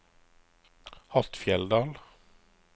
Hattfjelldal